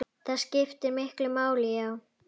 Það skiptir miklu máli, já.